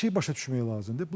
Bir şey başa düşmək lazımdır.